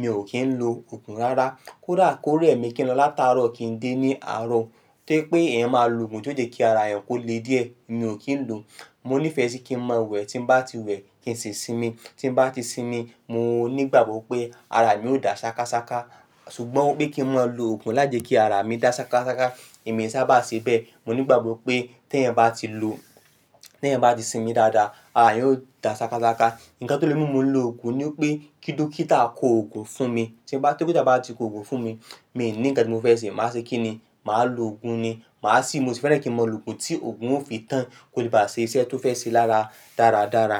mi ò kí ń lo òògùn rárá. Kódà kó rẹ̀ mi kí ń lọ látárọ̀ kí ń dé ní àárọ̀, tí pé ẹ̀yin máa lo òògùn lóde kí ara ẹ yín kó le díẹ̀, mi ò kí ń lo. Mo ní ìfẹ́ sí kí n máa wẹ̀, tí n bá ti wẹ̀, kí n sì sinmi. Tí n bá ti sinmi, mo ní ìgbàgbọ́ pé ara mi ó dà ṣákáṣáká. Ṣùgbọ́n pé kí n máa lo òògùn lájẹkìí ara mi dà ṣákáṣáká, èmi sábà ṣe bẹ́ẹ̀. Mo ní ìgbàgbọ́ pé tí ẹ̀yin bá ti lo-- tí ẹ̀yin bá ti sinmi dáadáa, ara ẹ yóò dà ṣákáṣáká. Ǹkan tó le mú mi mú lo òògùn ni pé kí dókítà kó òògùn fún mi. Tí dókítà bá ti kó òògùn fún mi, mi ní ǹkan tí mo fẹ́ ṣe. Máa ṣe kí ni? Màá lo òògùn ni. Màá sì mo ní ìfẹ́ kí n máa lo òògùn tí òògùn ó fi tán kó lè bá ṣe iṣẹ́ tí ó fẹ́ ṣe lára dáradára.